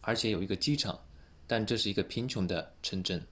而且有一个机场但这是一个贫穷的城镇